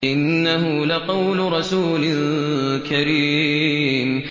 إِنَّهُ لَقَوْلُ رَسُولٍ كَرِيمٍ